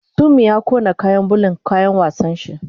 Sumi ya kona kayan bulan kayan wasan shi